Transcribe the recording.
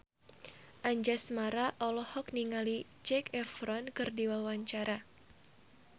Anjasmara olohok ningali Zac Efron keur diwawancara